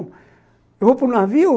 Eu vou para o navio,